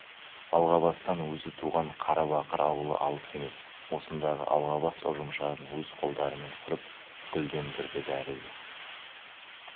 алғабастан өзі туған қарабақыр аулы алыс емес осындағы алғабас ұжымшарын өз қолдарымен құрып гүлдендірді бәрі де